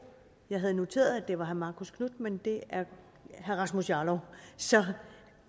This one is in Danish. jeg havde noteret at det var herre marcus knuth men det er herre rasmus jarlov så